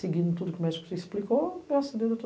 Seguindo tudo que o médico explicou, eu